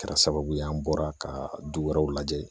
Kɛra sababu ye an bɔra ka du wɛrɛw lajɛ